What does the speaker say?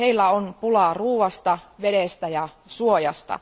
Heillä on pulaa ruoasta, vedestä ja suojasta.